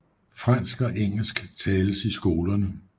Fransk og engelsk tales i skolerne